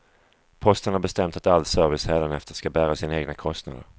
Posten har bestämt att all service hädanefter ska bära sina egna kostnader.